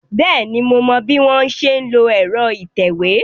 Bẹ́ẹ̀ni, mo mọ bí wọ́n ṣe ń lo ẹ̀rọ ìtẹ̀wé.